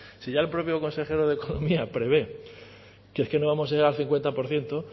si ya el propio consejero de economía prevé que es no vamos a llegar al cincuenta por ciento